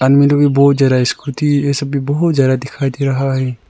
बहुत ज्यादा स्कूटी यह सब भी बहुत ज्यादा दिखाई दे रहा है।